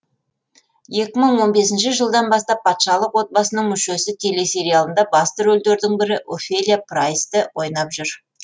екі мың он бесінші жылдан бастап патшалық отбасының мүшесі телесериалында басты рөлдердің бірі офелия прайсті ойнап жүр